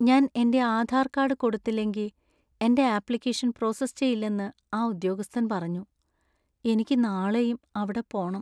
ഞാൻ എന്‍റെ ആധാർ കാർഡ് കൊടുത്തില്ലെങ്കി എന്‍റെ ആപ്ലികേഷന്‍ പ്രോസസ്സ് ചെയ്യില്ലെന്ന് ആ ഉദ്യോഗസ്ഥൻ പറഞ്ഞു. എനിക്ക് നാളെയും അവിടെ പോണം.